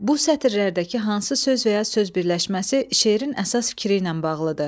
Bu sətirlərdəki hansı söz və ya söz birləşməsi şeirin əsas fikri ilə bağlıdır?